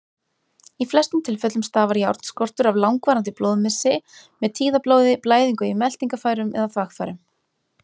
Í flestum tilfellum stafar járnskortur af langvarandi blóðmissi, með tíðablóði, blæðingu í meltingarfærum eða þvagfærum.